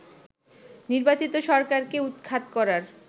নির্বাচিত সরকারকে উৎখাত করার